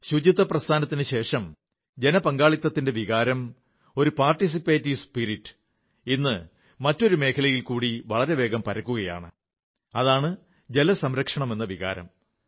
സ്വച്ഛതയ്ക്കു ശേഷം ജനപങ്കാളിത്തത്തിന്റെ വികാരം ഒരു പങ്കാളിത്ത മനോഭാവം ഇന്ന് മറ്റൊരു മേഖലയിൽക്കൂടി വളരേവേഗം പരക്കുകയാണ് അതാണ് ജലംസംരക്ഷണമെന്ന വികാരം